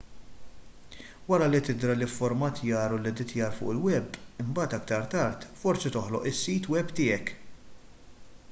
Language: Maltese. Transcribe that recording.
wara li tidra l-ifformattjar u l-editjar fuq il-web imbagħad aktar tard forsi toħloq is-sit web tiegħek